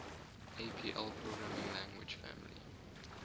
apl programming language family